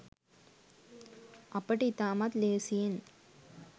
අපට ඉතාමත් ලේසියෙන්